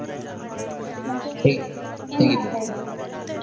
ಹ್ಮ್ ಮತ್ತೇ ಇದೀರಿ?